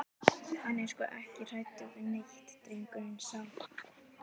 Hann er sko ekki hræddur við neitt, drengurinn sá.